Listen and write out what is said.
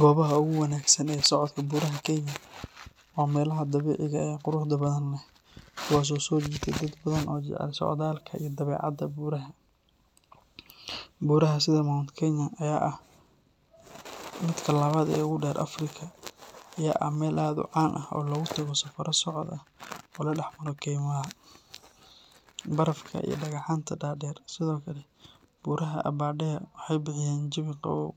Gobaha ugu wanaagsan ee socodka buuraha Kenya waa meelaha dabiiciga ah ee quruxda badan leh, kuwaas oo soo jiita dad badan oo jecel socdaalka iyo dabeecadda. Buuraha sida Mount Kenya oo ah midka labaad ee ugu dheer Afrika ayaa ah meel aad u caan ah oo lagu tago safarro socod ah oo la dhex maro keymaha, barafka iyo dhagxaanta dhaadheer. Sidoo kale, buuraha Aberdare waxay bixiyaan jawi qabow,